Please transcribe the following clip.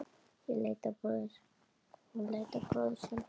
Hún leit á bróður sinn.